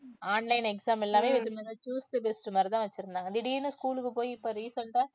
online exam எல்லாமே choose the best மாதிரி தான் வச்சிருந்தாங்க திடீர்ன்னு school க்கு போய் இப்ப recent அ